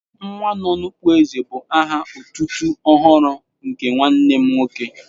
"Nwanọnụkpó èzè" bu aha otutu ọhụrụ nke nwanne m nwoke